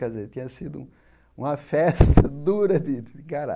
Quer dizer, tinha sido uma festa dura de.